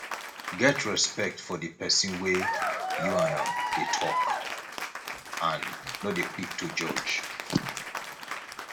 get respect for di person wey you and am dey talk and no dey quick to judge